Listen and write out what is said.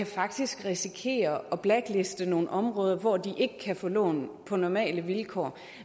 faktisk kan risikere at blackliste nogle områder hvor de ikke kan få lån på normale vilkår